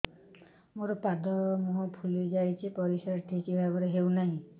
ମୋର ପାଦ ମୁହଁ ଫୁଲି ଯାଉଛି ପରିସ୍ରା ଠିକ୍ ଭାବରେ ହେଉନାହିଁ